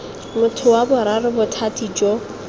motho wa boraro bothati jo